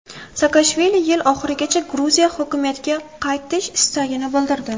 Saakashvili yil oxirigacha Gruziya hokimiyatga qaytish istagini bildirdi.